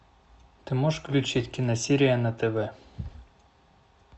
ты можешь включить киносерия на тв